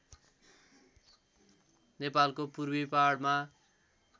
नेपालको पूर्वी पहाडमा